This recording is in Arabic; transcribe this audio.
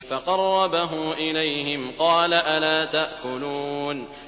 فَقَرَّبَهُ إِلَيْهِمْ قَالَ أَلَا تَأْكُلُونَ